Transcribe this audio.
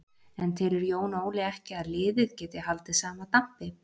En telur Jón Óli ekki að liðið geti haldið sama dampi?